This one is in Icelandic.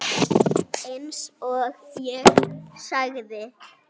Eins og ég sagði.